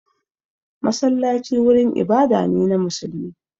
Masallaci wurin ibada ne na musulmi.